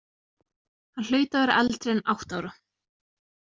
Hann hlaut að vera eldri en átta ára.